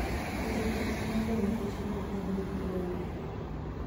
yudo twak mar lowo nigi chandruok maduong' e gwenge